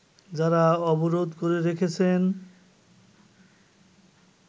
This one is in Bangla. যারা অবরোধ করে রেখেছেন